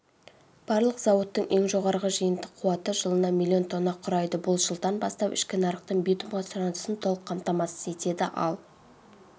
барлық зауыттардың ең жоғары жиынтық қуаты жылына миллион тонна құрайды бұл жылдан бастап ішкі нарықтың битумға сұранысын толық қамтамасыз етеді ал